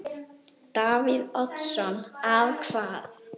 Davíð Oddsson: Að hvað?